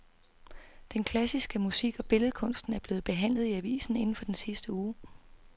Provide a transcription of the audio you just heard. Den klassiske musik og billedkunsten er blevet behandlet i avisen inden for den sidste uge.